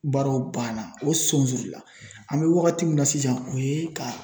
Baaraw banna o sonsori la an mɛ wagati min na sisan o ye ka